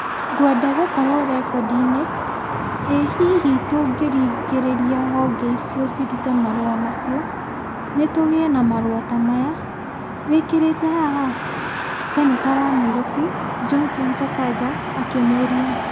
Ngwenda gũkorwo rekondi-inĩ, ĩ hihi tũngĩringĩrĩria honge icio cirute marũa macio nĩ tũgĩe na marũa ta maya wĩkĩrĩte haha? Seneta wa Nairobi Johnson Sakaja akĩmũria.